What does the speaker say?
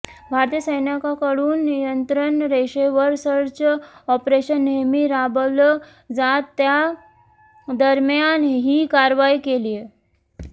भारतीय सैन्याकडून नियंत्रण रेषेवर सर्च ऑपरेशन नेहमी राबवलं जात त्यादरम्यान ही कारवाई केलीये